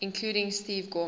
including steve gorman